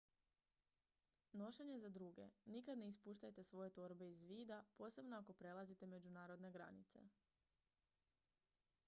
nošenje za druge nikad ne ispuštajte svoje torbe iz vida posebno ako prelazite međunarodne granice